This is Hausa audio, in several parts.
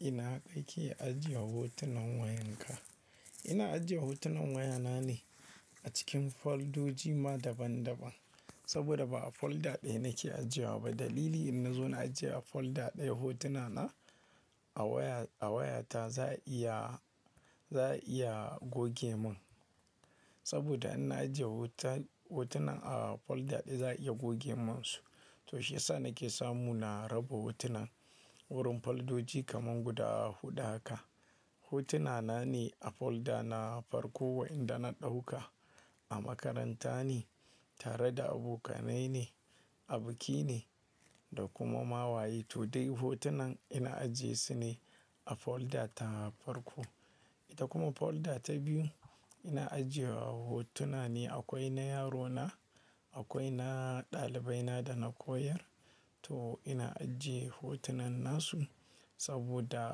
Ina kai ke ajiye hotunan wayanka? Ina ajiye hotunan wayana ne a cikin foldoji ma daban-daban. Saboda ba a folder ɗaya nake ajewa ba. Dalili in na zo na ajiye a folder ɗaya hotuna na a waya, a wayata za iya, za iya goge mun. Saboda in na ajiye hoton, hotunan a folder ɗaya za iya goge mun su. To shiyasa nake samu na raba hotunan wurin foldoji kaman guda huɗu haka. Hotuna na ne a folder na farko wa yanda na ɗauka. A makaranta ne, tare da abokanai ne, a biki ne da kuma ma waye. To dai hotunan ina ajiye su ne a folder ta farko. Ita kuma folder ta biyu ina ajiye wa hotuna ne akwai na yarona, akwai na ɗalibai na da na koyar. To ina ajiye hotunan nasu saboda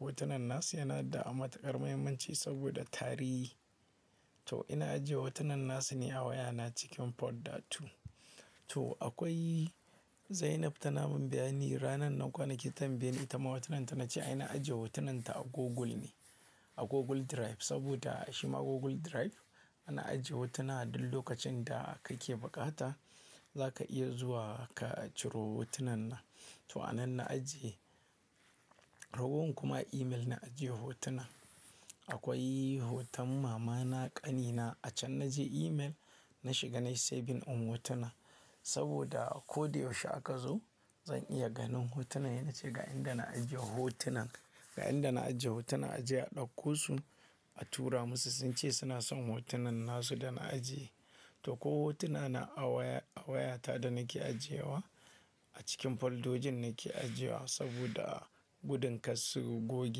hotunan nasu yana da matukar muhimmanci saboda tarihi. To ina ajiye hotunan nasu ne a wayana cikin folder two. To akwai Zainab ta namun bayani ranan nan kwanaki tambaye ni ita ma hotunan ta na ce ai na ajiye hotunan ta a Google ne. A Google Drive saboda shima Google Drive ana ajiye hotuna duk lokacin da kake bukata za ka iya zuwa ka ciro hotunan nan. To anan na ajiye. Ragowar kuma email na ajiye hotunan. Akwai hoton mama na, ƙane na a can na je email, na shiga na yi saving din hotuna saboda ko dai yaushe aka zo zan iya ganin hotunan. Yana cewa ga inda na ajiye hotunan, ga inda na ajiye hotunan. Ajiye a ɗauko su, a tura musu sun ce suna son hotunan nasu da na ajiye. To ko hotuna na a waya, a wayata da nake ajiye wa a cikin foldojin nake ajiye wa saboda gudun ka su goge.